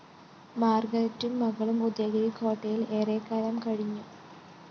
മാര്‍ഗരറ്റും മകളും ഉദയഗിരിക്കോട്ടയില്‍ ഏറെക്കാലം കഴിഞ്ഞു